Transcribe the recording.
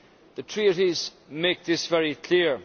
The Treaties make this very clear.